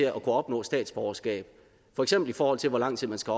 at kunne opnå statsborgerskab for eksempel i forhold til hvor lang tid man skal